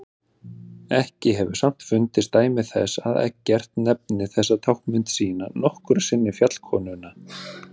Ekki hefur samt fundist dæmi þess að Eggert nefni þessa táknmynd sína nokkru sinni fjallkonuna.